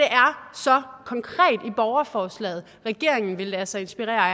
så konkret i borgerforslaget regeringen vil lade sig inspirere